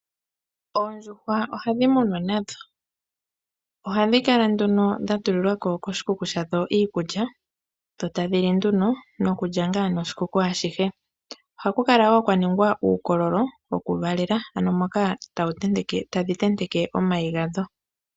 Oondjuhwa ohadhi munwa nadho, ohadhi kala nduno dhatululiwa ko koshikuku shadho iikulya, dho tadhi li nduno nokundjanga noshikuku ashihe. Ohaku kala wo kwaningwa uukololo wokuvalela ano moka tadhi tenteke omayi gadho.